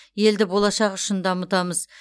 елді болашақ үшін дамытамыз